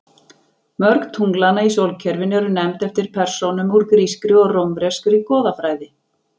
Mörg tunglanna í sólkerfinu eru nefnd eftir persónum úr grískri og rómverskri goðafræði.